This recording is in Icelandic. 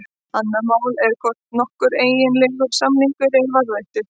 Annað mál er hvort nokkur eiginlegur samningur er varðveittur.